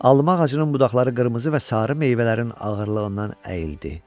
Alma ağacının budaqları qırmızı və sarı meyvələrin ağırlığından əyildi.